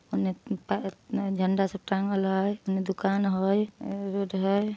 होने पाए ए होने झंडा सब टांगल हई होने दुकान हई होने रोड हई।